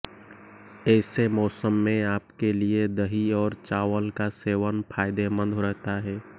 ऐसे मौसम में आपके लिए दही और चावल का सेवन फायदेमंद रहता है